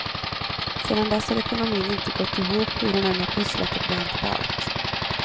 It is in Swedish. Sedan dess har ekonomin inte gått ihop hur hon än pusslat och vänt på allt.